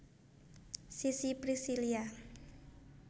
Sissy Priscillia